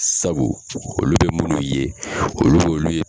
Sabu olu be munnu ye olu b'olu ye